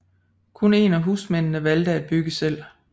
Kun en af husmændene valgte at bygge selv